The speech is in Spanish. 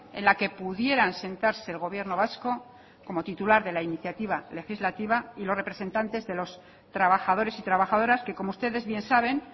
en la que pudieran sentarse el gobierno vasco como titular de la iniciativa legislativa y los representantes de los trabajadores y trabajadoras que como ustedes bien saben